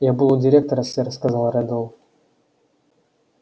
я был у директора сэр сказал реддл